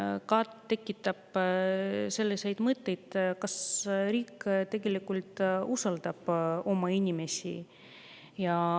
See tekitab selliseid mõtteid, kas riik tegelikult usaldab oma inimesi.